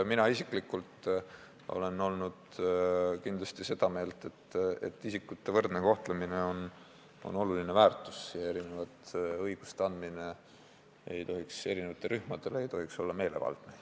Mina isiklikult olen kindlasti olnud seda meelt, et isikute võrdne kohtlemine on oluline väärtus ja et erinevatele rühmadele erinevate õiguste andmine ei tohiks olla meelevaldne.